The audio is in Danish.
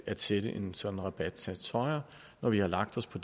at sætte en sådan rabatsats højere når vi har lagt os på